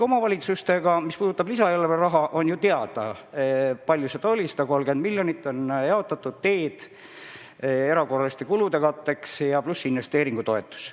Mis puudutab lisaeelarve raha, siis on ju teada, kui palju seda kohalikele omavalitsustele anti: 130 miljonit on jaotatud teede- ja erakorraliste kulude katteks, pluss investeeringutoetus.